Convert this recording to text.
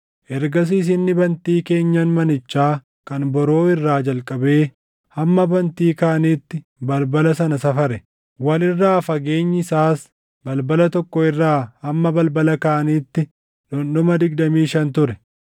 Ergasiis inni bantii keenyan manichaa kan boroo irraa jalqabee hamma bantii kaaniitti balbala sana safare; wal irraa fageenyi isaas balbala tokko irraa hamma balbala kaaniitti dhundhuma digdamii shan ture.